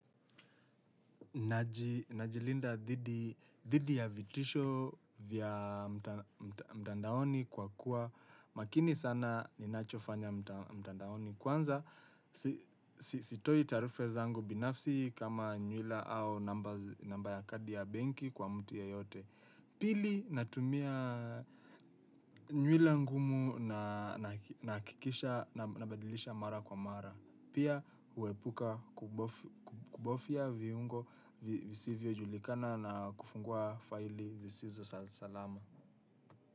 Najilinda dhidi ya vitisho vya mtandaoni kwa kuwa makini sana ninachofanya mtandaoni kwanza sitoi taarifa zangu binafsi kama nyuila au namba ya kadi ya benki kwa mtu yeyote. Pili natumia nyuila ngumu na nahakikisha nabadilisha mara kwa mara. Pia huepuka kubofya viungo visivyo julikana na kufungua faili zisizo salama.